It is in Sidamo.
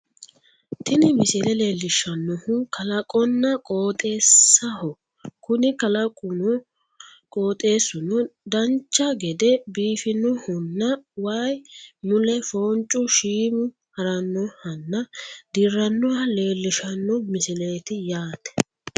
tini misile leellishshannohu kalaqonna qoxeessaho kuni kalaqunna qooxeessuno dancha gede biifinohonna waye mule foonchu shiimu harannohanna dirranoha leellishshano misileeti yaate